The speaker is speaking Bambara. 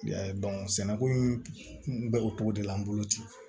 sɛnɛko in kun bɛ o cogo de la n bolo ten